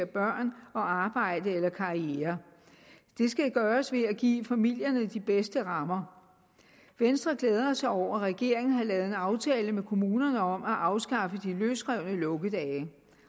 børn og arbejde eller karriere det skal gøres ved at give familierne de bedste rammer venstre glæder sig over at regeringen har lavet en aftale med kommunerne om at afskaffe de løsrevne lukkedage